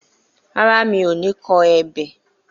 Rárá, mi ò ní kọ ebè